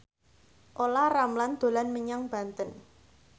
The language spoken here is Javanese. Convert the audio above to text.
Olla Ramlan dolan menyang Banten